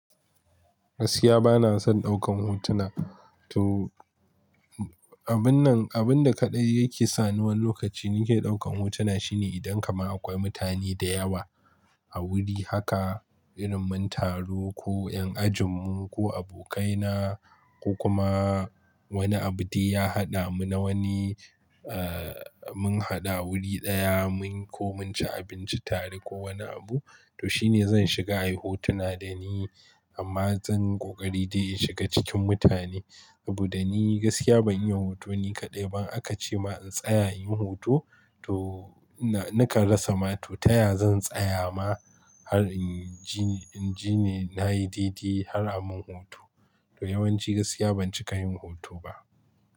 Gaskiya bana son ɗaukan hotuna. To, abun nan, abun da kaɗai yake sa ni wani lokaci nike ɗaukan hotuna shine idan kaman akwai mutane da yawa a wuri haka, irin mun taru ko ƴan ajin mu ko abokaina ko kuma, wani abu dai ya haɗa mu na wani, eh mun haɗu a wuri ɗaya mun ko, mun ci abinci tare ko wani abu, to shine zan shiga ayi hotuna dani, amma zan ƙoƙari dai in shiga cikin mutane, saboda ni gaskiya ban iya hoto ni kaɗai ba, akace ma in tsaya inyi hoto, to ina, nakan rasa ma, to taya zan tsaya ma har inji, inji ni nayi dai-dai har a mun hoto. To yawanci gaskiya ban cika yin hoto ba.